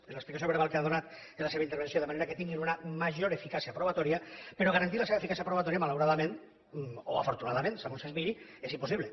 l’explicació verbal que ha donat en la seva intervenció de manera que tinguin una major eficàcia probatòria però garantir la seva eficàcia probatòria malauradament o afortunadament segons es miri és impossible